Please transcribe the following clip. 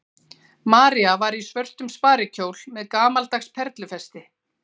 María var í svörtum sparikjól með gamaldags perlufesti.